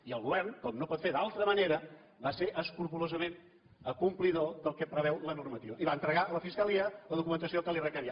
i el govern com que no pot fer d’altra manera va ser escrupolosament complidor del que preveu la normativa i va entregar a la fiscalia la documentació que li requeria